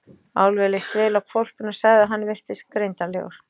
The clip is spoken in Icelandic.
Álfi leist vel á hvolpinn og sagði að hann virtist greindarlegur.